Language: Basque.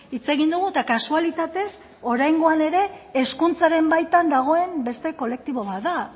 hitz egin dugu eta kasualitatez oraingoan ere hezkuntzaren baitan dagoen beste kolektibo bat da